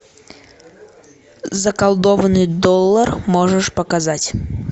заколдованный доллар можешь показать